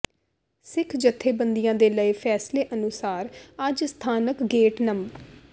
ਸਿੱਖ ਜਥੇਬੰਦੀਆਂ ਦੇ ਲਏ ਫੈਸਲੇ ਅਨੁਸਾਰ ਅੱਜ ਸਥਾਨਕ ਗੇਟ ਨੰ